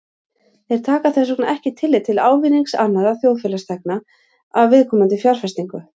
Þeir taka þess vegna ekki tillit til ávinnings annarra þjóðfélagsþegna af viðkomandi fjárfestingu.